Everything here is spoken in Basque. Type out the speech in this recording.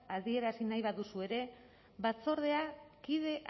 adierazi nahi baduzu ere batzordea kide